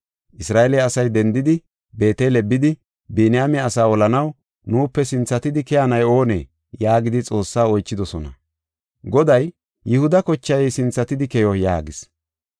Isra7eele asay dendidi, Beetele bidi, “Biniyaame asaa olanaw nuupe sinthatidi keyanay oonee?” yaagidi Xoossaa oychidosona. Goday, “Yihuda kochay sinthatidi keyo” yaagis.